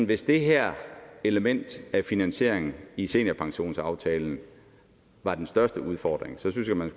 hvis det her element af finansiering i seniorpensionsaftalen var den største udfordring så synes at man